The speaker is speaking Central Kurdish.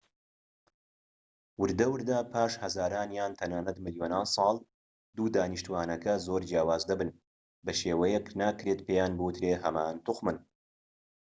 وردە وردە پاش هەزاران یان تەنانەت ملیۆنان ساڵ دوو دانیشتوانەکە زۆر جیاواز دەبن بە شێوەیەك ناکرێت پێیان بووترێت هەمان توخمن